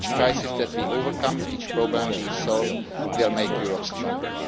Each crisis that we overcome, each programme we solve will make Europe stronger.